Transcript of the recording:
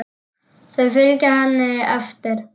Þau fylgja henni eftir.